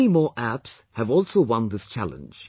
Many more apps have also won this challenge